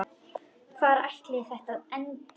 Hvar ætli þetta endi?